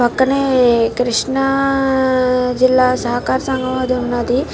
పక్కనే కృష్ణ జిల్లా సహకార సంఘం అది ఉన్నది.